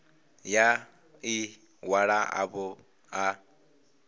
ya ḽi ṅwalo ḽavho ḽa